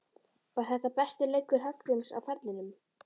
Var þetta besti leikur Hallgríms á ferlinum?